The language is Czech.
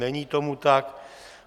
Není tomu tak.